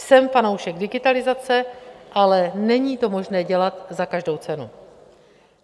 Jsem fanoušek digitalizace, ale není to možné dělat za každou cenu.